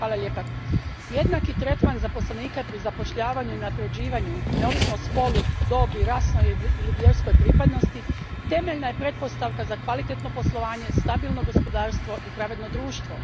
Gospodine predsjedniče, jednaki tretman za zaposlenike pri zapošljavanju i unapređivanju, neovisno o spolu, dobi, rasnoj ili vjerskoj pripadnosti, temeljna je pretpostavka za kvalitetno poslovanje, stabilno gospodarstvo i pravedno društvo.